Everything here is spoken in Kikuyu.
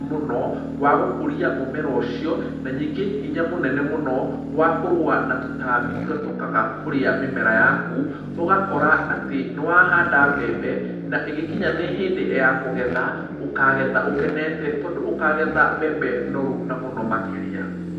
mũno wa gũkũria mũmera ũcio. Na nyingĩ hinya mũnene mũno wa kũrũa na tũtaambi tũrĩa tũkaga kũrĩa mĩmera yaku. Ũgakora atĩ nĩ wahanda mbembe, na ĩgĩkinya atĩ nĩ hĩndĩ ya kũgetha, ũkagetha ũkenete, tondũ ũkagetha mbembe noru na mũno makĩria.